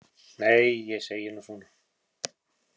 Nei, ég segi nú svona.